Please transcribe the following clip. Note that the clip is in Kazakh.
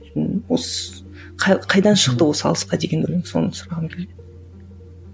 қайдан шықты осы алысқа деген өлең соны сұрағым келген